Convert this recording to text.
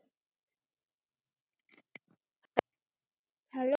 hello